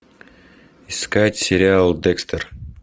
искать сериал декстер